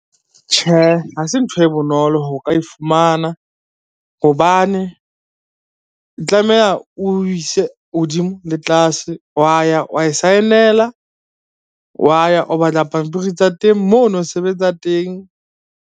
Tjhe, ha se ntho e bonolo ho ka e fumana hobane, o tlameha o ise hodimo le tlase wa ya wa e saenela, wa ya o batla pampiri tsa teng, moo ono sebetsa teng.